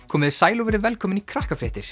komiði sæl og verið velkomin í